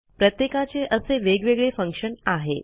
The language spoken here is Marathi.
प्रत्येकाचे असे वेगवेगळे फंक्शन आहे